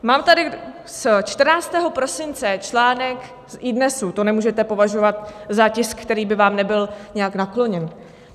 Mám tady z 14. prosince článek z iDNES - to nemůžete považovat za tisk, který by vám nebyl nějak nakloněný.